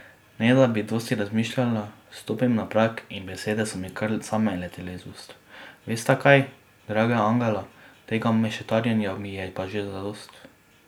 Ne da bi dosti razmišljala, stopim na prag in besede so mi kar same letele iz ust:'Vesta kaj, draga angela, tega mešetarjenja mi je pa že zadosti.